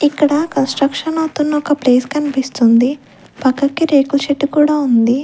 ఇక్కడ కన్స్ట్రక్షన్ అవుతున్న ఒక ప్లేస్ కనిపిస్తుంది పక్కకి రేకుల షెడ్డు కూడా ఉంది.